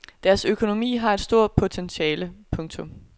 Deres økonomi har et stort potentiale. punktum